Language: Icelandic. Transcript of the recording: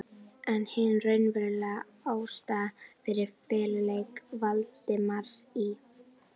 Lilja Rún, lögreglukona: Nei, eru ekki íslenskir hestar svo litlir?